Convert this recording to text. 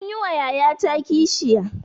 Anyi wa yayata kishiya.